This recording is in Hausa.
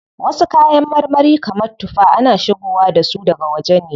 Wasu kayan marmari kamar tuffa, ana shigowa dasu daga waje ne.